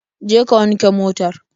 Je ka wanke motar.